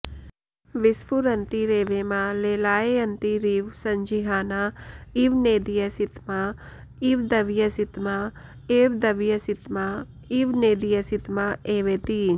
विस्फुरन्तीरेवेमा लेलायन्तीरिव सञ्जिहाना इव नेदीयसितमा इव दवीयसितमा एव दवीयसितमा इव नेदीयसितमा एवेति